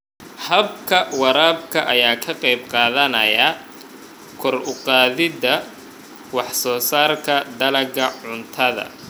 Habka waraabka ayaa ka qayb qaadanaya kor u qaadida wax soo saarka dalagga cuntada.